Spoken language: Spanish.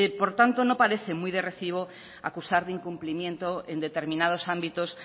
por lo tanto no parece muy de recibo acusar de incumplimiento en determinados ámbitos